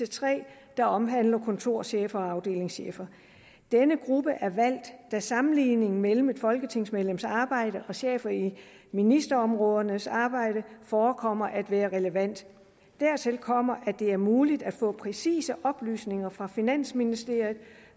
tre der omhandler kontorchefer og afdelingschefer denne gruppe er valgt da sammenligningen mellem et folketingsmedlems arbejde og chefer i ministerområdernes arbejde forekommer at være relevant dertil kommer at det er muligt at få præcise oplysninger fra finansministeriet